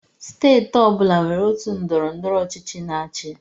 Steeti ọ bụla nwere otu ndọrọndọrọ ọchịchị na-achị.